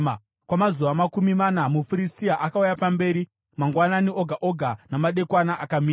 Kwamazuva makumi mana, muFiristia akauya pamberi mangwanani oga oga namadekwana akamira.